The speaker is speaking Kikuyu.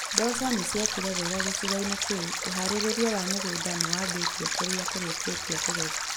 Mboco nĩciekire wega gĩcigo-inĩ kĩu. Uharĩria wa mĩgunda nĩwambĩtie kũrĩa kũrĩkĩtie kũgethwo